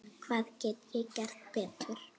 Hvað get ég gert betur?